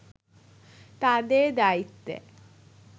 তাদের দায়িত্বে